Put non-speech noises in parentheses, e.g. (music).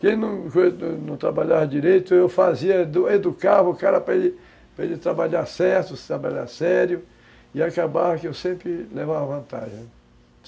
Quem (unintelligible) não (unintelligible) trabalhava direito, eu fazia, edu educava o cara para ele trabalhar certo, se trabalhar sério, e acabava que eu sempre levava vantagem, né.